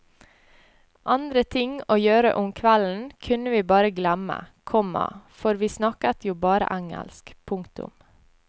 Andre ting å gjøre om kvelden kunne vi bare glemme, komma for vi snakket jo bare engelsk. punktum